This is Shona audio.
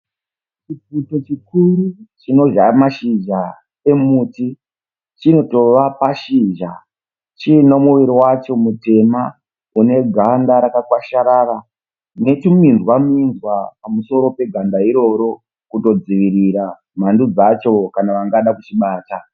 Chipfukuto chikuru chinodhla mashizha emuti. Chinotova pashizha chiine muviri wacho mutema une ganda rakawasharara netuminzwa minzwa pamusoro peganda iroro kudodzivirira mhando dzacho kana vangada kuchibata.